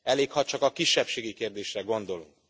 Elég, ha csak a kisebbségi kérdésre gondolunk.